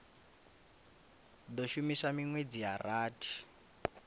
do shuma minwedzi ya rathi